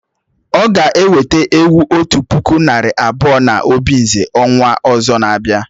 O ga eweta ewu otu puku nari abuo na obinze ọnwa ọzọ na abia